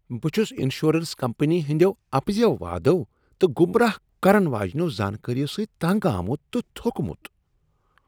بہٕ چُھس insurance company ہٕندیو اَپزیو وعدَو تہٕ گمراہ کرن واجنیٚو زانکٲرِیو سۭتۍ تنگ آمُت تہٕ تھوٚکمُت ۔